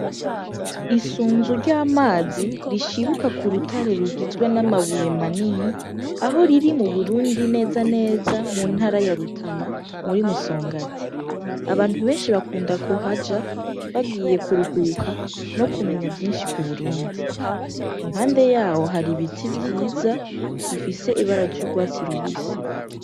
Isunzu ry'amazi rishibuka ku rutare rugizwe n'amabuye manini aho riri mu burundi neza neza mu ntara yarutana muri musonga ati abantu benshi bakunda ku haja bagiye kuruhuka no kumenya vyinshi ku burundi impande yawo hari ibiti vyiza za bifise ibara jurwatsi rubise.